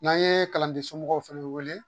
N'an ye kalanden somɔgɔw fɛnɛ wele